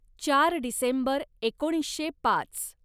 चार डिसेंबर एकोणीसशे पाच